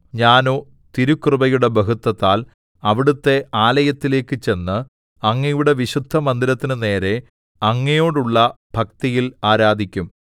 ഞാനോ തിരുകൃപയുടെ ബഹുത്വത്താൽ അവിടുത്തെ ആലയത്തിലേക്ക് ചെന്ന് അങ്ങയുടെ വിശുദ്ധമന്ദിരത്തിനു നേരെ അങ്ങയോടുള്ള ഭക്തിയിൽ ആരാധിക്കും